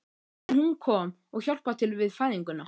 En hún kom og hjálpaði til við fæðinguna.